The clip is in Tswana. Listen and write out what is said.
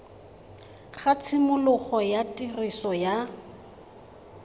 ga tshimologo ya tiriso ya